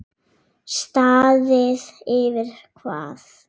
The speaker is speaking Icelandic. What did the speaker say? Staðið yfir hvað?